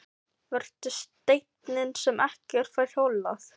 Vertu steinninn sem ekkert fær holað.